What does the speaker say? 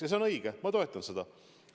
Ja see on õige, ma toetan seda.